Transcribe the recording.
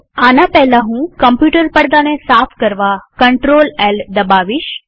આના પહેલા હું કમ્પ્યુટર પડદાને સાફ કરવા CtrlL દબાવીશ